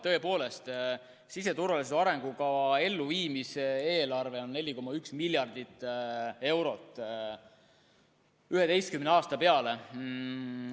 Tõepoolest, siseturvalisuse arengukava elluviimise eelarve on 4,1 miljardit eurot 11 aasta peale.